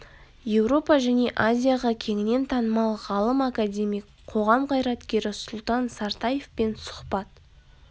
еуропа және азияға кеңінен танымал ғалым академик қоғам қайраткері сұлтан сартаевпен сұхбат